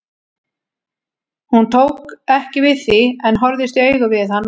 Hún tók ekki við því en horfðist í augu við hann og sagði